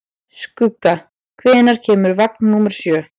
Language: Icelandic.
Skugga, hvenær kemur vagn númer sjö?